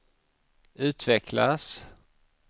utvecklas